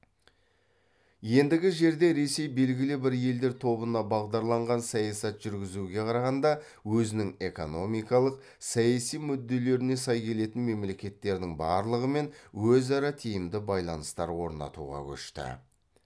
ендігі жерде ресей белгілі бір елдер тобына бағдарланған саясат жүргізуге қарағанда өзінің экономикалық саяси мүдделеріне сай келетін мемлекеттердің барлығымен өзара тиімді байланыстар орнатуға көшті